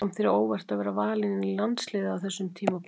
Kom þér á óvart að vera valinn í landsliðið á þessum tímapunkti?